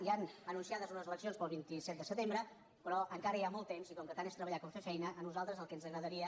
hi han anunciades unes eleccions per al vint set de setembre però encara hi ha molt temps i com que tant és treballar com fer feina a nosaltres el que ens agradaria